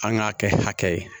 An k'a kɛ hakɛ ye